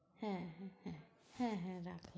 হ্যাঁ হ্যাঁ হ্যাঁ হ্যাঁ হ্যাঁ রাখ।